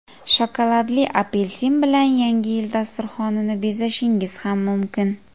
Shokoladli apelsin bilan yangi yil dasturxonini bezashingiz ham mumkin.